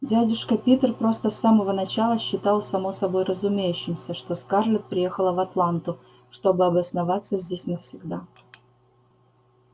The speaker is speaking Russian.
дядюшка питер просто с самого начала считал само собой разумеющимся что скарлетт приехала в атланту чтобы обосноваться здесь навсегда